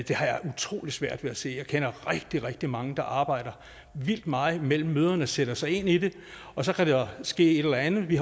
jeg utrolig svært ved at se jeg kender rigtig rigtig mange der arbejder vildt meget mellem møderne sætter sig ind i det og så kan der ske et eller andet vi